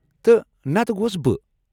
تہٕ نتہٕ گوس بہ!